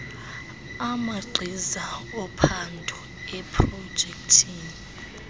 amagqiza ophando eeprojekthi